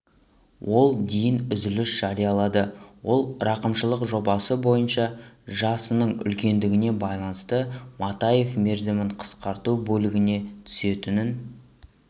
ол дейін үзіліс жариялады ол рақымшылық жобасы бойынша жасының үлкендігіне байланысты матаев мерзімін қысқарту бөлігіне түсетінін